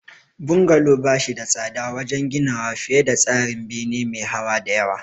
Bungalow ba shi da tsada wajen ginawa fiye da tsarin bene me hawa da yawa.